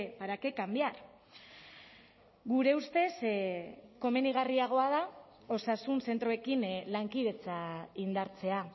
para qué cambiar gure ustez komenigarriagoa da osasun zentroekin lankidetza indartzea